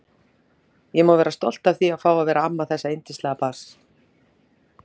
Ég má vera stolt af því að fá að vera amma þessa yndislega barns.